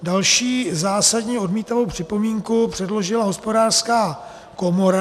Další zásadně odmítavou připomínku předložila Hospodářská komora.